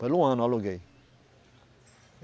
Pelo um ano eu aluguei.